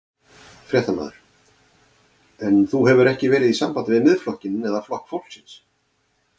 Fréttamaður: En þú hefur ekki verið í sambandi við Miðflokkinn eða Flokk fólksins?